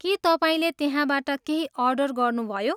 के तपाईँले त्यहाँबाट केही अर्डर गर्नुभयो?